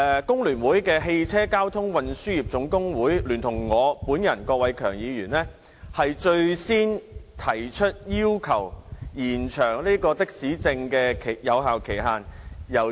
工聯會屬下汽車交通運輸業總工會聯同我本人，最先提出要求延長的士司機證有效期的建議。